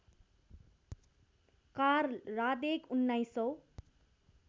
Karl Radek उन्नाइसौँ